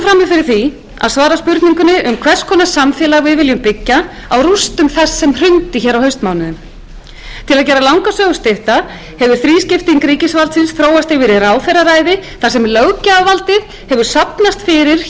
við stöndum frammi fyrir því að svara spurningunni um hvers konar samfélag við viljum byggja á rústum þess sem hrundi hér á haustmánuðum til að gera langa sögu stutta hefur þrískipting ríkisvaldsins þróast yfir í ráðherraræði þar sem löggjafarvaldið hefur safnast fyrir hjá